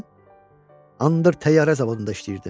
Mən Andır təyyarə zavodunda işləyirdim.